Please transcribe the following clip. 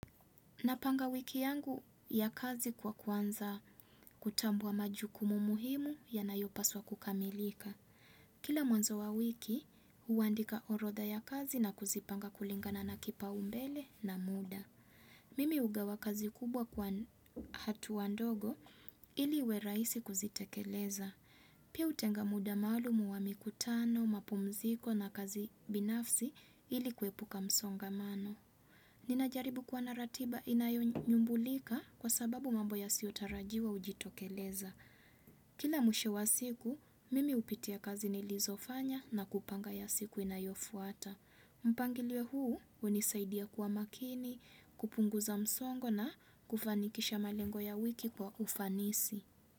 Napanga wiki yangu ya kazi kwa kuanza kutambua majukumu muhimu yanayopaswa kukamilika. Kila mwanzo wa wiki, huandika orodha ya kazi na kuzipanga kulingana na kipaumbele na muda. Mimi hugawa kazi kubwa kwa hatua ndogo ili uwe rahisi kuzitekeleza. Pia hutenga muda maalum wa mikutano, mapumziko na kazi binafsi ili kuepuka msongamano. Ninajaribu kwa na ratiba inayonyumbulika kwa sababu mambo yasiyotarajiwa hujitokeleza. Kila mwisho wa siku, mimi hupitia kazi nilizofanya na kupanga ya siku inayofuata. Mpangilio huu, hunisaidia kuwa makini, kupunguza msongo na kufanikisha malengo ya wiki kwa ufanisi.